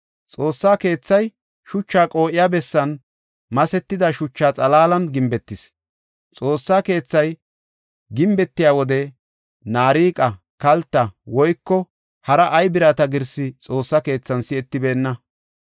Xoossa keethay shucha qoo7iya bessan masetida shucha xalaalan gimbetis; Xoossa keethay gimbetiya wode naariqa, kalta, woyko hara ay birata girsi Xoossa keethan si7etibeenna.